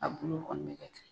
A bolo kɔni bɛ kɛ ten.